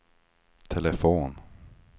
telefon